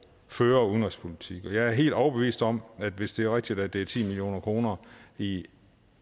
føre udenrigspolitik jeg er helt overbevist om at hvis det er rigtigt at det er ti million kroner i